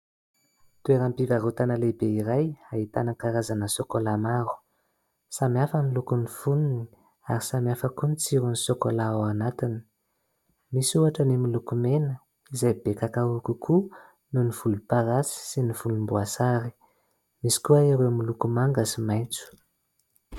Toeram-pivarotana lehibe iray ahitana karazana sôkôla maro. Samihafa ny lokon'ny fonony ary samihafa koa ny tsiron'ny sôkôla ao anatiny. Misy ohatra ny miloko mena izay be kakaô kokoa noho ny volomparasy sy ny volomboasary, misy koa ireo miloko manga sy maitso.